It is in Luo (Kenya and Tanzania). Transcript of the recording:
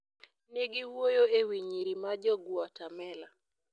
Ne giwuoyo e wi nyiri ma Jo-Guatemala.